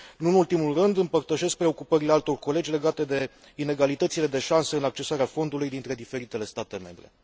Nu în ultimul rând, împărtășesc preocupările altor colegi legate de inegalitățile de șanse în accesarea fondului dintre diferitele state membre.